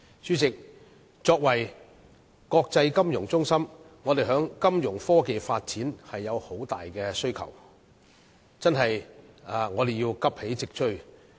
主席，作為國際金融中心，我們在金融科技發展上有很大需求，亦須急起直追。